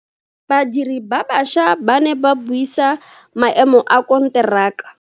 Badiri ba baša ba ne ba buisa maemo a konteraka.